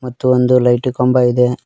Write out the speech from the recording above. ಮತ್ತು ಒಂದು ಲೈಟು ಕಂಬ ಇದೆ.